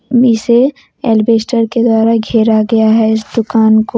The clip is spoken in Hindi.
इसे एलबस्टर के द्वारा घेरा गया है इस दुकान को।